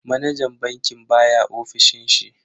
Manajan bankin baya ofishin shi.